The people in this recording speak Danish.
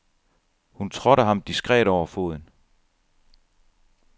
Hun trådte ham diskret over foden.